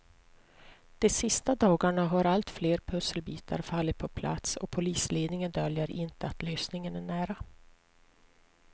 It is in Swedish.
De sista dagarna har allt fler pusselbitar fallit på plats och polisledningen döljer inte att lösningen är nära.